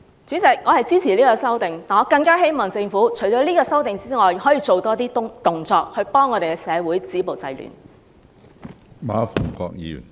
主席，我支持《條例草案》，但我更希望政府除了這項修訂外，可以做多些動作，協助社會止暴制亂。